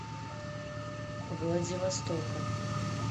владивостока